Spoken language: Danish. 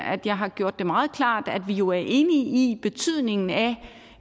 at jeg har gjort det meget klart at vi jo er enige i betydningen af